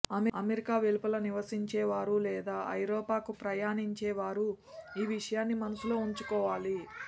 America వెలుపల నివసించేవారు లేదా ఐరోపాకు ప్రయాణించేవారు ఈ విషయాన్ని మనసులో ఉంచుకోవాలి